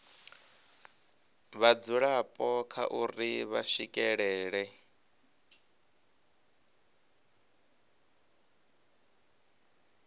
vhadzulapo kha uri vha swikelela